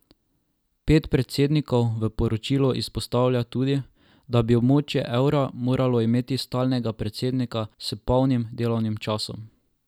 Pet predsednikov v poročilu izpostavlja tudi, da bi območje evra moralo imeti stalnega predsednika s polnim delovnim časom.